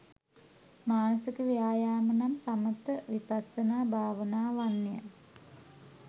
මානසික ව්‍යායාම නම් සමථ විපස්සනා භාවනාවන් ය.